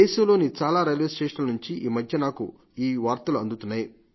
దేశంలోని చాలా రైల్వేస్టేషన్ల నుండి ఈ మధ్య నాకు ఈ వార్తలు అందుతున్నాయి